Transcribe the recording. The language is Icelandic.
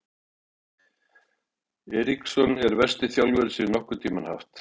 Eriksson er versti þjálfari sem ég hef nokkurn tímann haft.